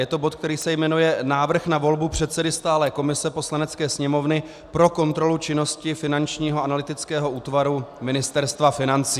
Je to bod, který se jmenuje Návrh na volbu předsedy stálé komise Poslanecké sněmovny pro kontrolu činnosti Finančního analytického útvaru Ministerstva financí.